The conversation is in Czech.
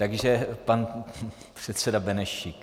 Takže pan předseda Benešík.